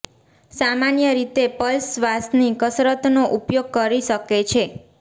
સામાન્ય રીતે પલ્સ શ્વાસની કસરતનો ઉપયોગ કરી શકે છે